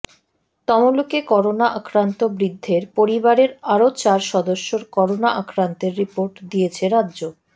তমলুকে corona আক্রান্ত বৃদ্ধের পরিবারের আরও চার সদস্যর করোনা আক্রান্তের রিপোর্ট দিয়েছে রাজ্য